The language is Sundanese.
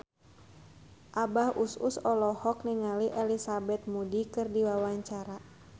Abah Us Us olohok ningali Elizabeth Moody keur diwawancara